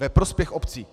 Ve prospěch obcí.